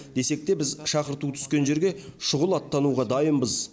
десек те біз шақырту түскен жерге шұғыл аттануға дайынбыз